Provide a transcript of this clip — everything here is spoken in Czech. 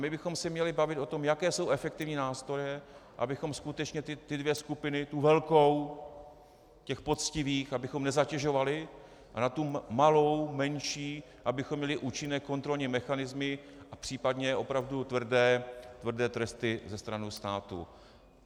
My bychom se měli bavit o tom, jaké jsou efektivní nástroje, abychom skutečně ty dvě skupiny, tu velkou těch poctivých abychom nezatěžovali, a na tu malou, menší, abychom měli účinné kontrolní mechanismy a případně opravdu tvrdé tresty ze strany státu.